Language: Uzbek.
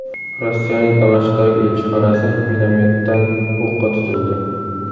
Rossiyaning Damashqdagi elchixonasi minomyotdan o‘qqa tutildi.